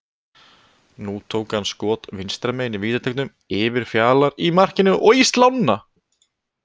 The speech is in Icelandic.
Nú tók hann skot vinstra megin í vítateignum, yfir Fjalar í markinu og í slána.